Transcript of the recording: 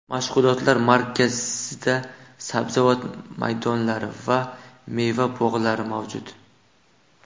Mashg‘ulotlar markazida sabzavot maydonlari va meva bog‘lari mavjud.